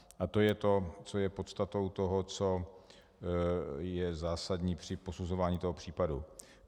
A to je to, co je podstatou toho, co je zásadní při posuzování toho případu.